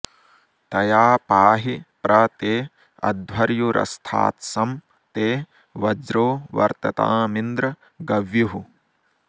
तया पाहि प्र ते अध्वर्युरस्थात्सं ते वज्रो वर्ततामिन्द्र गव्युः